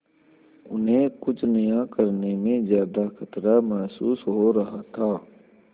उन्हें कुछ नया करने में ज्यादा खतरा महसूस हो रहा था